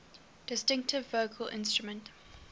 distinctive vocal instrument